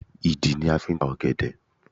Ìdí ni a fi ń ta ọ̀gẹ̀dẹ̀